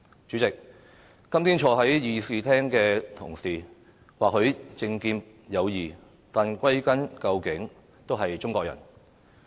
主席，今天坐在議事廳的同事或許政見各異，但歸根究底都是中國人。